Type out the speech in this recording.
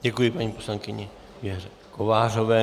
Děkuji paní poslankyni Věře Kovářové.